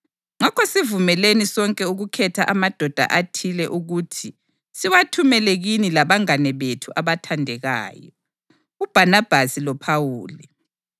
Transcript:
Ngakho sivumelene sonke ukukhetha amadoda athile ukuthi siwathumele kini labangane bethu abathandekayo, uBhanabhasi loPhawuli,